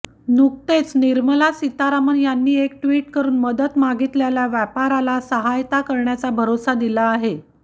नुकतेच निर्मला सीतारमन यांनी एक ट्विट करून मदत मागितलेल्या व्यापाऱ्याला सहायता करण्याचा भरोसा दिला आहे